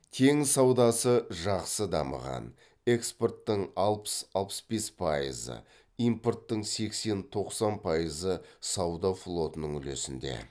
теңіз саудасы жақсы дамыған экспорттың алпыс алпыс бес пайызы импорттың сексен тоқсан пайызы сауда флотының үлесінде